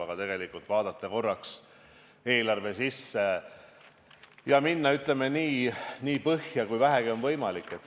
Aga tegelikult tuleb vaadata korraks eelarve sisse ja minna, ütleme, nii põhja kui vähegi on võimalik.